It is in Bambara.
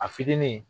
A fitinin